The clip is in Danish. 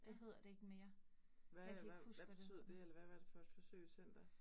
Ja. Hvad hvad hvad betyder det eller hvad hvad er det for et forsøgscenter?